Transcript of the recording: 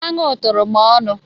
Anụ tụrụ m ọnụ.